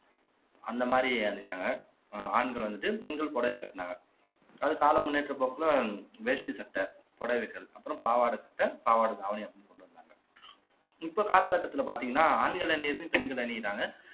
அந்த மாரி அணிச்சாங்க அஹ் ஆண்கள் வந்துட்டு பெண்கள் புடவையை கட்டுனாங்க அது கால முன்னேற்ற போக்குல வேஷ்டி சட்டை புடவைகள் அப்புறம் பாவாடை சட்டை பாவாடை தாவணி அப்படின்னு கொண்டு வந்தாங்க இப்ப கால கட்டத்துல பார்த்தீங்கன்னா ஆண்கள் அணியிறது பெண்கள் அணியிறாங்க